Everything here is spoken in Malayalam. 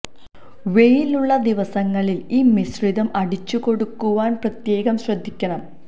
വെയിൽ ഉള്ള ദിവസങ്ങളിൽ ഈ മിശ്രിതം അടിച്ചു കൊടുക്കുവാൻ പ്രത്യേകം ശ്രദ്ധിക്കണം